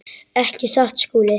Ekki satt, Skúli?